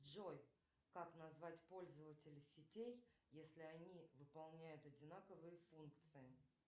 джой как назвать пользователей сетей если они выполняют одинаковые функции